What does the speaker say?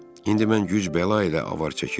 İndi mən güc-bəla ilə avar çəkir.